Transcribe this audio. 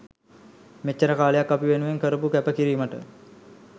මෙච්චර කාලයක් අපි වෙනුවෙන් කරපු කැප කිරීමට